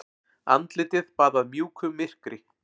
Andlitið baðað mjúku myrkri.